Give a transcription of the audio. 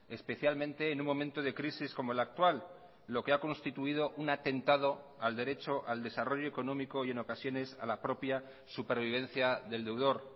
especialmente en un momento de crisis como el actual lo que ha constituido un atentado al derecho al desarrollo económico y en ocasiones a la propia supervivencia del deudor